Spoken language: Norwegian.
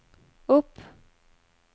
opp